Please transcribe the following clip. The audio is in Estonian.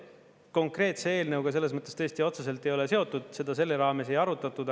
See konkreetse eelnõuga selles mõttes tõesti otseselt ei ole seotud, seda selle raames ei arutatud.